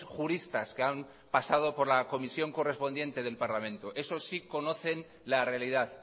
juristas que han pasado por la comisión correspondiente del parlamento esos sí conocen la realidad